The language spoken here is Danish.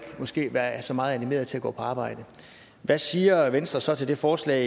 være så meget animeret til at gå på arbejde hvad siger venstre så til det forslag